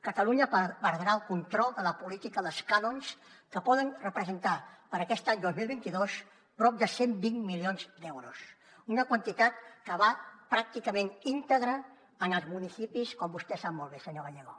catalunya perdrà el control de la política dels cànons que poden representar per aquest any dos mil vint dos prop de cent i vint milions d’euros una quantitat que va pràcticament íntegra als municipis com vostè sap molt bé senyor gallego